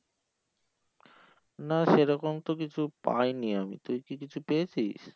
না সেরকম তো কিছু পাইনি আমি, তুই কি কিছু পেয়েছিস?